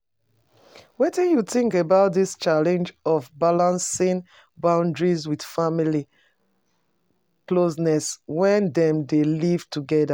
Wetin you think about di challenge of balancing boundaries with family closeness when dem dey live together?